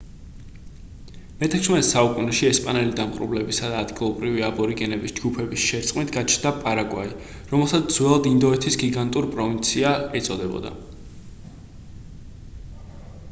მე-16 საუკუნეში ესპანელი დამპყრობლებისა და ადგილობრივი აბორიგენების ჯგუფების შერწყმით გაჩნდა პარაგვაი რომელსაც ძველად ინდოეთის გიგანტურ პროვინცია ეწოდებოდა